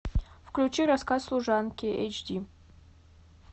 включи рассказ служанки эйч ди